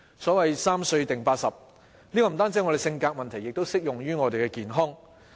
所謂"三歲定八十"，這不單是我們的性格，亦適用於我們的健康。